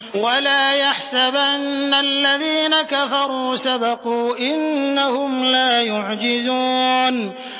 وَلَا يَحْسَبَنَّ الَّذِينَ كَفَرُوا سَبَقُوا ۚ إِنَّهُمْ لَا يُعْجِزُونَ